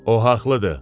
O haqlıdır.